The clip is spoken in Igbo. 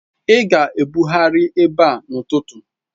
Ị ga-ebugharị ebe n'ụtụtụ!